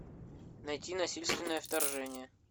найти насильственное вторжение